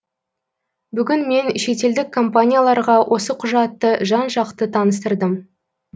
бүгін мен шетелдік компанияларға осы құжатты жан жақты таныстырдым